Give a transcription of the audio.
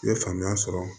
I ye faamuya sɔrɔ